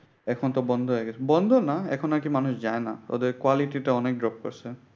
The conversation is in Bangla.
এখনতো বন্ধ হয়ে গেছে। বন্ধ না এখন নাকি মানুষ যায়না। ওদের quality টা অনেক drop করছে।